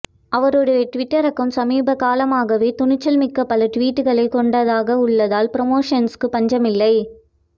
அவருடைய Twitter account சமீப காலமாகவே துணிச்சல் மிக்க பல ட்விட்டுகளை கொண்டதாக உள்ளதால் ப்ரமோஷன்ஸுக்கு பஞ்சம் இல்லை